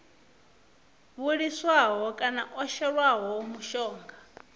vhiliswaho kana o shelwaho mushonga